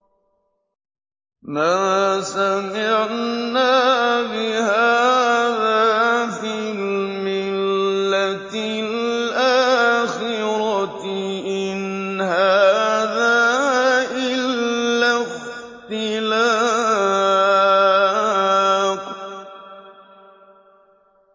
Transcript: مَا سَمِعْنَا بِهَٰذَا فِي الْمِلَّةِ الْآخِرَةِ إِنْ هَٰذَا إِلَّا اخْتِلَاقٌ